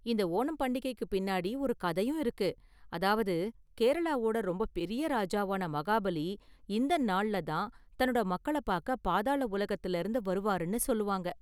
இந்த ஓணம் பண்டிகைக்கு பின்னாடி ஒரு கதையும் இருக்கு, அதாவது, கேரளாவோட ரொம்ப பெரிய ராஜாவான மகாபலி இந்த நாள்ல தான் தன்னோட மக்களப் பார்க்க பாதாள உலகத்துலருந்து வருவாருனு சொல்லுவாங்க.